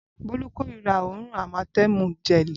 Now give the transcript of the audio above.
Bolu kòrira òórùn amatemu gẹli.